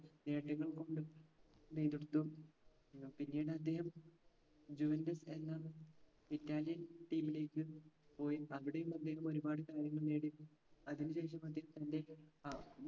നേട്ടങ്ങൾ കൊണ്ട് നെയ്തെടുത്തു പിന്നീട് അദ്ദേഹം juventus എന്ന brownie team ലേക്ക് പോയി അവിടെയും അദ്ദേഹം ഒരുപാട് കാര്യങ്ങൾ നേടി അതിന് ശേഷം അദ്ദേഹം തൻറെ അഹ്